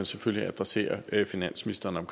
selvfølgelig adressere finansministeren om